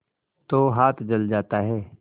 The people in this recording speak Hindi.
तो हाथ जल जाता है